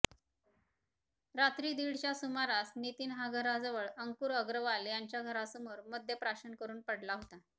रात्री दीडच्या सुमारास नितीन हा घराजवळ अंकुर अग्रवाल यांच्या घरासमोर मद्य प्राशन करून पडला होता